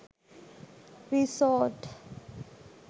resort